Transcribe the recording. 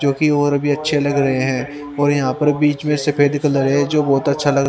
जोकि और भी अच्छे लग रहे है और यहां पर बीच मे सफेद कलर है जो बहोत अच्छा लग--